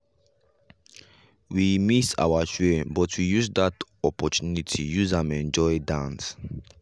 we miss our train but we use that opportunity use am enjoy dance.